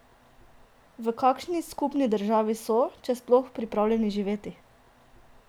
V kakšni skupni državi so, če sploh, pripravljeni živeti?